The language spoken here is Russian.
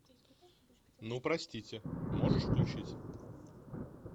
ну простите можешь включить